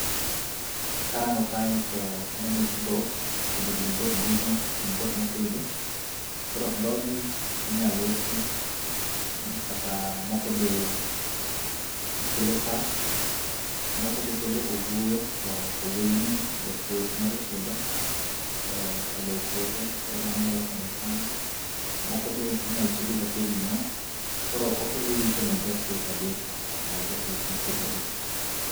Karango kae to aneno dhok kendo gin dhok dume gin dhok mopidh. Koro dhogi inyalo usi kata moko be kelo chak, moko be kelo owuoyo to owuoyoni japur nyalo tiyogo, e olo e puothe koro mano nyalo konyo e cham. Moko be inyalo ti go kaka ring'o koro okelo yuto ne japur kabisa ne japur mopidhogi.